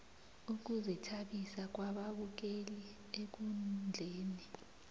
ukuzithabisa kwababukeli ekundleni